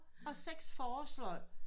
Og seks forårsløg som